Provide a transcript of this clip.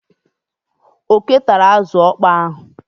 Oké tara azụ ọkpọọ ahụ.